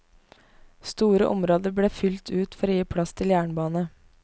Store områder ble fylt ut for å gi plass til jernbane.